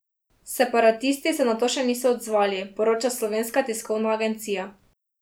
Separatisti se na to še niso odzvali, poroča Slovenska tiskovna agencija.